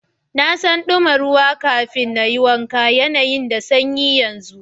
N'na son duma ruwa kafin n'yi wanka, yanayin na da sanyi yanzu.